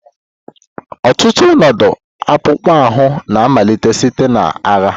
Ọtụtụ ọnọdụ akpụkpọ ahụ na-amalite site na agha.